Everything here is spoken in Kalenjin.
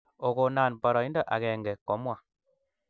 Okonan poroindo agenge komwaa